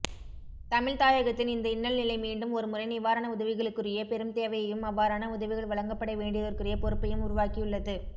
தமிழ்தாயகத்தின் இந்த இன்னல்நிலை மீண்டும் ஒரு முறை நிவாரண உதவிகளுக்குரிய பெரும்தேவையையும் அவ்வாறான உதவிகள் வழங்கப்படவேண்டியதற்குரிய பொறுப்பையும் உருவாக்கியுள்ளது